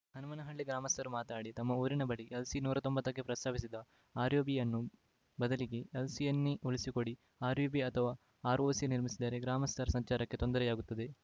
ಹನುಮನಹಳ್ಳಿ ಗ್ರಾಮಸ್ಥರು ಮಾತನಾಡಿ ತಮ್ಮ ಊರಿನ ಬಳಿ ಎಲ್‌ಸಿ ನೂರ ತೊಂಬತ್ತ ಕ್ಕೆ ಪ್ರಸ್ತಾಪಿಸಿದ ಆರ್‌ಯುಬಿಯನ್ನು ಬದಲಿಗೆ ಎಲ್‌ಸಿಯನ್ನೇ ಉಳಿಸಿಕೊಡಿ ಆರ್‌ಯುಬಿ ಅಥವಾ ಆರ್‌ಓಬಿ ನಿರ್ಮಿಸಿದರೆ ಗ್ರಾಮಸ್ಥರ ಸಂಚಾರಕ್ಕೆ ತೊಂದರೆಯಾಗುತ್ತದೆ